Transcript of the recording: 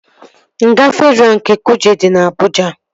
Nga Fedraa nke Kuje dị na Abụja